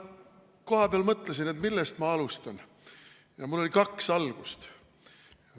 Ma kohapeal mõtlesin, et millest ma alustan, ja mul oli kaks algust.